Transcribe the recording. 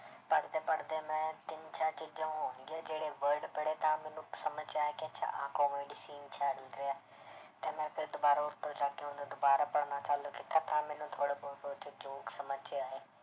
ਪੜ੍ਹਦੇ ਪੜ੍ਹਦੇ ਮੈਂ ਤਿੰਨ ਚਾਰ ਚੀਜ਼ਾਂ ਹੋਣਗੀਆਂ ਜਿਹੜੇ word ਪੜ੍ਹੇ ਤਾਂ ਮੈਨੂੰ ਸਮਝ 'ਚ ਆਇਆ ਕਿ ਇਹ 'ਚ ਆਹ comedy scene ਚੱਲ ਰਿਹਾ ਤੇ ਮੈਂ ਫਿਰ ਦੁਬਾਰਾ ਉੱਪਰ ਜਾ ਕੇ ਉਹਨੂੰ ਦੁਬਾਰਾ ਪੜ੍ਹਨਾ ਚਾਲੂ ਕੀਤਾ ਤਾਂ ਮੈਨੂੰ ਥੋੜ੍ਹਾ ਬਹੁਤ ਉਹ 'ਚ joke ਸਮਝ 'ਚ ਆਏ।